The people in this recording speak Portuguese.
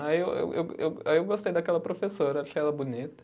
Aí eu eu eu go, aí eu gostei daquela professora, achei ela bonita.